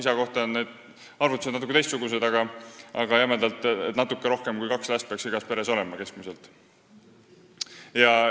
Isade kohta on need arvutused natuke teistsugused, aga jämedalt öeldes peaks natuke rohkem kui kaks last igas peres keskmiselt olema.